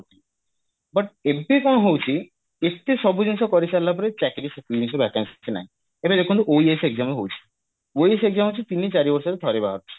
but ଏବେ କଣ ହଉଛି ଏତେ ସବୁ ଜିନିଷ କରିସାରିଲା ପରେ ଚାକିରି କିଛି ନାହିଁ ଏବେ ଦେଖନ୍ତୁ OAS exam ହଉଛି OAS exam ହଉଛି ତିନି ଚାରି ବର୍ଷରେ ଠାରେ ବହଜାରୁଛି